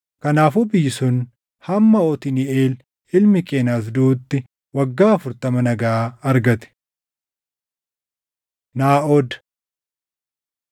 Kanaafuu biyyi sun hamma Otniiʼeel ilmi Qenaz duʼutti waggaa afurtama nagaa argate. Naaʼod